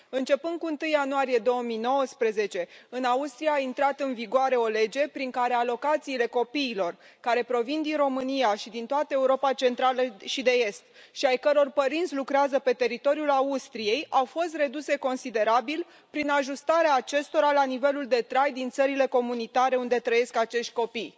Începând cu 1 ianuarie 2019, în Austria a intrat în vigoare o lege prin care alocațiile copiilor care provin din România și din toată Europa Centrală și de Est și ai căror părinți lucrează pe teritoriul Austriei au fost reduse considerabil, prin ajustarea acestora la nivelul de trai din țările comunitare unde trăiesc acești copii.